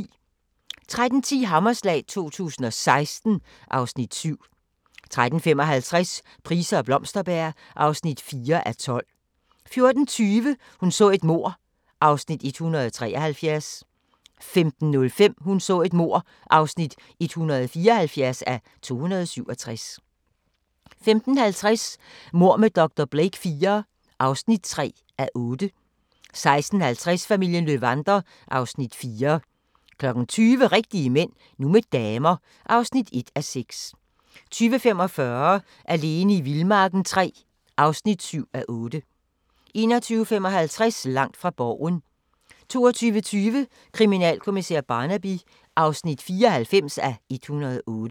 13:10: Hammerslag 2016 (Afs. 7) 13:55: Price og Blomsterberg (4:12) 14:20: Hun så et mord (173:267) 15:05: Hun så et mord (174:267) 15:50: Mord med dr. Blake IV (3:8) 16:50: Familien Löwander (Afs. 4) 20:00: Rigtige Mænd – nu med damer (1:6) 20:45: Alene i vildmarken III (7:8) 21:55: Langt fra Borgen 22:20: Kriminalkommissær Barnaby (94:108)